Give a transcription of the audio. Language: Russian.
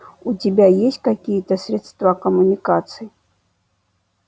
у тебя есть какие-то средства коммуникации